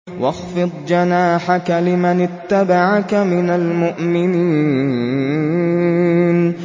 وَاخْفِضْ جَنَاحَكَ لِمَنِ اتَّبَعَكَ مِنَ الْمُؤْمِنِينَ